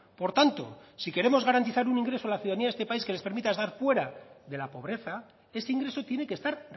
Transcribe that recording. por tanto si queremos garantizar un ingreso a la ciudadanía de este país que les permita estar fuera de la pobreza ese ingreso tiene que estar